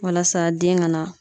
Walasa den ka na